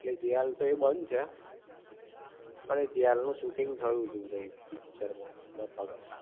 ઍટલે જેલ તો એ બંધ છે પણ એ જેલ નું શૂટિંગ થયું તું તઈ પિકચર માં બતાવતા,